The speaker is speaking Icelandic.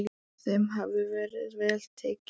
Þeim hafi verið vel tekið.